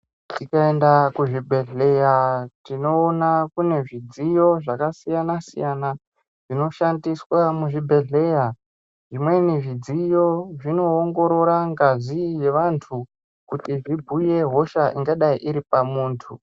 Tikaenda kuzvibhedhlera tinowona kunezvidziyo zvakasiyana siyana zvinoshandiswa muzvibhedhleya. Imweni zvidziyo zvinowongorora ngazi yevantu kuti zvibuye hosha ingadai iripamuntu.